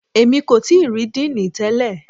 Èmi kò tíì rí Díìnì tẹlẹ̀.